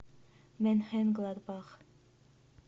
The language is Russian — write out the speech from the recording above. менхенгладбах